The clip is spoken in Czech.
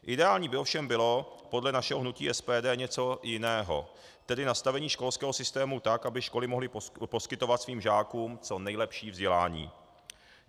Ideální by ovšem bylo podle našeho hnutí SPD něco jiného, tedy nastavení školského systému tak, aby školy mohly poskytovat svým žákům co nejlepší vzdělání.